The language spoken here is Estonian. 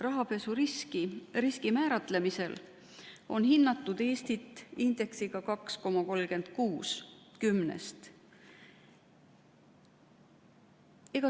Rahapesu riski määratlemisel on hinnatud Eestit indeksiga 2,36 .